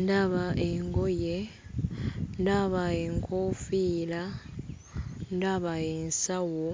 Ndaba engoye, ndaba enkoofiira, ndaba ensawo